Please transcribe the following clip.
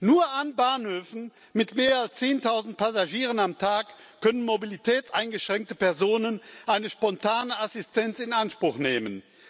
Nur an Bahnhöfen mit mehr als zehntausend Passagieren am Tag können mobilitätseingeschränkte Personen eine spontane Assistenz in Anspruch nehmen.